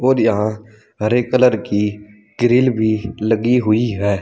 और यहां हरे कलर की ग्रिल भी लगी हुई है।